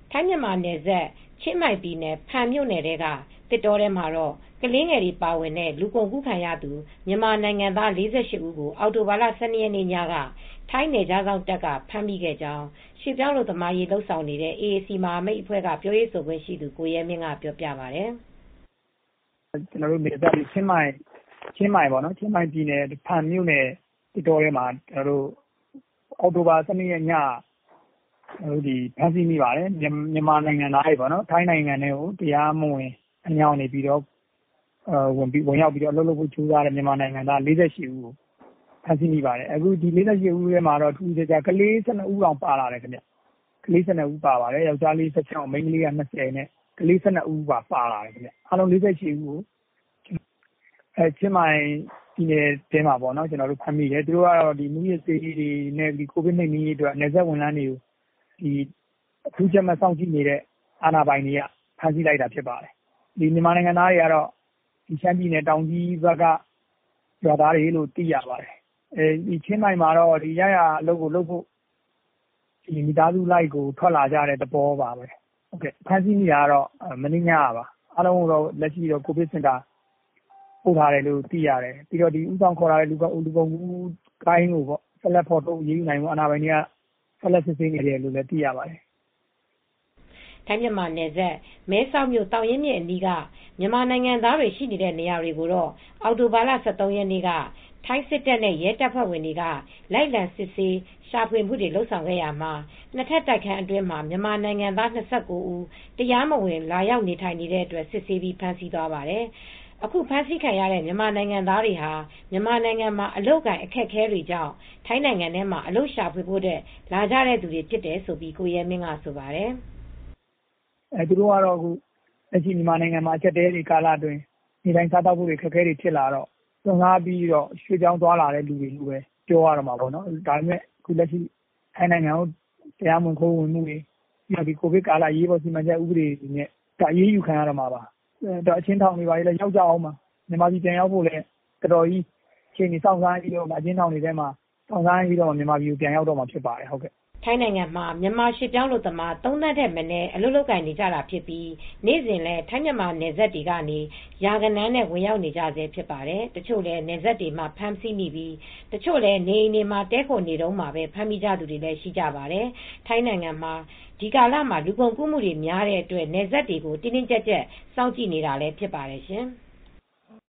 ထိုင်းမြန်မာနယ်စပ် ချင်းမိုင်ပြည်နယ် ဖန်မြို့နယ်ထဲက သစ်တောထဲမှာ ကလေးငယ်တွေပါတဲ့ လူကုန်ကူးခံရသူမြန်မာနိုင်ငံသား ၄၈ ဦးကို အောက်တိုဘာလ ၁၂ ရက်နေ့ညက ထိုင်းနယ်ခြားစောင့်တပ်က ဖမ်းမိခဲ့ကြောင်း ရွှေ့ပြောင်းအလုပ်သမားရေးလုပ်နေတဲ့ AAC မဟာမိတ်အဖွဲ့က ပြောရေးဆိုခွင့်ရှိသူ ကိုရဲမင်းက အခုလိုပြောပါတယ်။ “ချင်းမိုင်ပြည်နယ် ဖန်မြို့နယ်သစ်တောထဲမှာ အောက်တိုဘာလ ၁၂ ရက်ညက ဖမ်းဆီးမိတာကတော့ မြန်မာနိုင်ငံသား ၄၈ ဦးကိုဖမ်းမိတယ်။ ဖမ်းမိတဲ့အထဲမှာ ကလေး ၁၂ ဦးပါတယ်။ ယောက်ကျားလေး ၁၆ မိန်းကလေး ၂၀ နဲ့ ကလေး ၁၂ ဦးပါလာတယ်။ သူတို့က ချင်းမိုင်ပြည်နယ်ထဲမှာ ဖမ်းမိပါတယ်။ မူးယစ်နှိမ်နင်းရေးနဲ့ ကိုဗစ်ကာကွယ်ရေးအတွက် အထူးကြပ်မတ် စောင့်ကြည့်နေတဲ့အာဏာပိုင်တွေက ဖမ်းတာပါ။ သူတို့ကရှမ်းပြည်နယ်တောင်ကြီးက ရွာသားတွေလို့သိရပါတယ်။ ချင်းမိုင်မှာ ရရာအလုပ်လုပ်ဖို့ မိသားစုလိုက်ထွက်လာကြတဲ့ရွာသားတွေပါ။ မနေ့ညက ဖမ်းဆီးလိုက်တာပါ။အားလုံးကိုတော့ ကိုဗစ်စင်တာပို့ထားတယ်လို့သိရတယ်။ ဦးဆောင်ခေါ်လာတဲ့ လူကုန်ကူးဂိုဏ်းကိုတော့ ဆက်လက်ဖော်ထုတ်အရေးယူနိုင်ဖို့ စစ်ဆေးနေတယ်လို့ သိရပါတယ်။” ထိုင်းမြန်မာနယ်စပ် မဲဆောက်မြို့ သောင်းရင်းမြစ်အနီးက မြန်မာနိုင်ငံသားတွေ ရှိနေတဲ့နေရာတွေကိုတော့ အောက်တိုဘာလ ၁၃ ရက်နေ့က ထိုင်းစစ်တပ်နဲ့ရဲတပ်ဖွဲဝင်တွေက လိုက်လံ စစ်ဆေးရှာဖွေခဲ့ရာမှာ နှစ်ထပ်တိုက်ခန်းတခုအတွင်း မြန်မာနိုင်ငံသား ၂၉ ဦး တရားမဝင် လာရောက် နေထိုင်နေတဲ့အတွက် စစ်ဆေးပြီး ဖမ်းဆီးသွားခဲ့ပါတယ်။ အခုဖမ်းဆီးခံရတဲ့မြန်မာနိုင်ငံသားတွေဟာ မြန်မာနိုင်ငံမှာအလုပ်အကိုင်အခက်အခဲတွေကြောင့် ထိုင်းနိုင်ငံထဲမှာ အလုပ်ရှာဖွေဖို့ လာကြသူတွေဖြစ်တယ်လို့လည်း ကိုရဲမင်းကဆိုပါတယ်။ “မြန်မာနိုင်ငံမှာ လက်ရှိ နေထိုင်စားသောက်ဖို့အခက်အခဲတွေကြောင့် စွန့်စားပြီး ရွှေ့ပြောင်းသွားလာတယ်လို့ ပြောရမှာပေါ့။ လက်ရှိမှာ ထိုင်းနိုင်ငံထဲ ခိုးဝင်မှုတွေကို အရေးပေါ် ကိုဗစ်ဥပဒေတွေနဲ့ အရေးယူခံရမှာပါ။ အကျဉ်းထောင်တွေထဲလည်းရောက်ကြတော့မှာပါ။ အကျဉ်းထောင်တွေထဲ အကြာကြီးနေထိုင်ပြီးမှ မြန်မာပြည်ကိုပြန်ရောက်ကြမှာပါ။” ထိုင်းနိုင်ငံမှာမြန်မာရွှေ့ပြောင်းအလုပ်သမား ၃ သန်းထက်မနည်းရှိနေပြီး နေ့စဉ်လည်း ထိုင်းမြန်မာနယ်စပ်တွေကနေ ရာဂဏန်းနဲ့ ဝင်ရောက်နေကြဆဲဖြစ်ပါတယ်။ တချို့လည်း နယ်စပ်တွေမှာ ဖမ်းဆီးမိပြီး တချို့လည်း နေအိမ်တွေမှာ တည်းခိုနေထိုင်နေတုန်း ဖမ်းမိကြသူတွေလည်းရှိပါတယ်။ ထိုင်းနိုင်ငံကတော့ ဒီကာလမှာ လူကုန်ကူးမှုတွေများတဲ့အတွက် နယ်စပ်တွေကို တင်းတင်းကြပ်ကြပ် စောင့်ကြည့်နေပါတယ်ရှင်။